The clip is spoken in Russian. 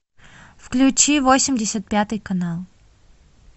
включи восемьдесят пятый канал